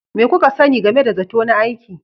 Me kuka sani game da zato na aiki?